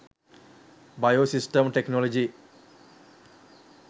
bio system technology